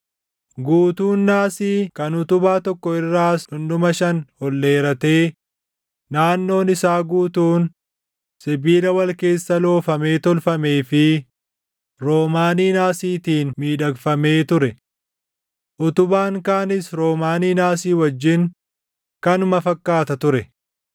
Guutuun naasii kan utubaa tokko irraas dhundhuma shan ol dheeratee naannoon isaa guutuun sibiila wal keessa loofamee tolfamee fi roomaanii naasiitiin miidhagfamee ture. Utubaan kaanis roomaanii naasii wajjin kanuma fakkaata ture.